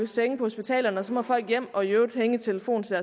senge på hospitalerne og så må folk hjem og i øvrigt hænge i telefonen til